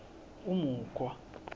umukhwa